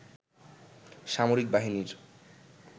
সামরিক বাহিনীর